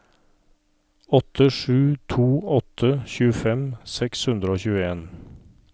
åtte sju to åtte tjuefem seks hundre og tjueen